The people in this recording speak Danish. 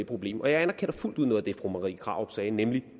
problem og jeg anerkender fuldt ud noget af det fru marie krarup sagde nemlig